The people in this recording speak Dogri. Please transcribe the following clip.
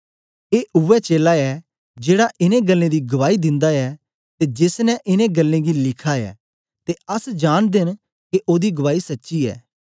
ए उवै चेला ऐ जेड़ा इनें गल्लें दी गवाई दिंदा ऐ ते जेस ने इनें गल्लें गी लिखा ऐ ते अस जांनदे न के ओदी गवाई सच्ची ऐ